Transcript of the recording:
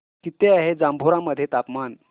किती आहे जांभोरा मध्ये तापमान